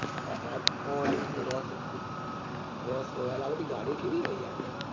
rolls royce આ બધી ગાડી કેવી છે યાર